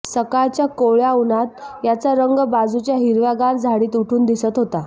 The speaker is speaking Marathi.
सकाळच्या कोवळ्या उन्हात याचा रंग बाजूच्या हिरव्यागार झाडीत उठून दिसत होता